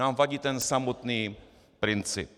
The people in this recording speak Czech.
Nám vadí ten samotný princip.